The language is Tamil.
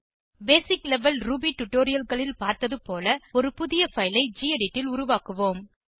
பேசிக் லெவல் ரூபி tutorialகளில் பார்த்தது போல ஒரு புதிய பைல் ஐ கெடிட் ல் உருவாக்குவோம்